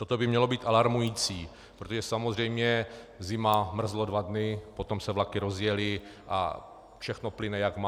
Toto by mělo být alarmující, protože samozřejmě - zima, mrzlo dva dny, potom se vlaky rozjely a všechno plyne, jak má.